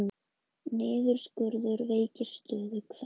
Niðurskurður veikir stöðu kvenna